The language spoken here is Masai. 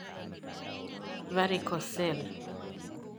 Varicocele.